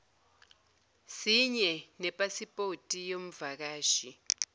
sinye nepasipoti yomvakashi